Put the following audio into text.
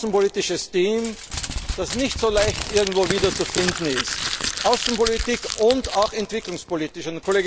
Wir haben ein außenpolitisches Team, das nicht so leicht irgendwo wieder zu finden ist, außenpolitisch und auch entwicklungspolitisch.